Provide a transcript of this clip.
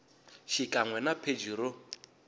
xikan we na pheji ro